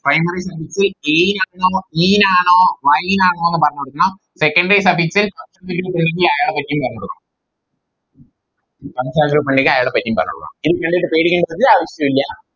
Primary suffix t ആണോ E ആണോ Y ആണോന്ന് പറഞ്ഞോടുക്കണം Secondary suffix അയാളെപ്പറ്റിയും പറഞ്ഞോടുക്കണം പുള്ളിക്ക് അയാളെ പറ്റിയും പറഞ്ഞോടുക്കണം ഇത് കണ്ടിട്ട് പേടിക്കണ്ട ഒരവശ്യോം ഇല്ല